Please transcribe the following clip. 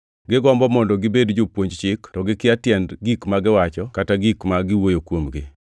Gigombo mondo gibed jopuonj Chik to gikia tiend gik ma giwacho kata gik ma giwuoyo kuomgi.